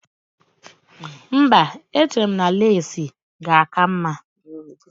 Mba, echere m na leesi ga-aka mma